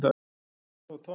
Það var Tom.